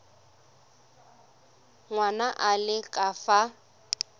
ngwana a le ka fa